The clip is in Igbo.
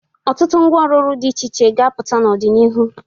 ọtụtụ ngwa ọrụrụ dị iche iche ga-apụta n'ọdịnihu.